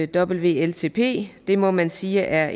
wltp det må man sige er